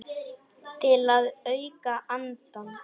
Til að auka andann.